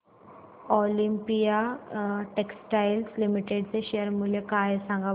Olympia textiles limited चे share मूल्य काय आहे सांगा बरं